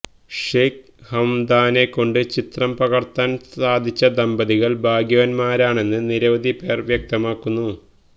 ഷെയ്ഖ് ഹംദാനെ കൊണ്ട് ചിത്രം പകര്ത്താന് സാധിച്ച ദമ്പതികള് ഭാഗ്യവാന്മാരാണെന്ന് നിരവധി പേര് വ്യക്തമാക്കുന്നു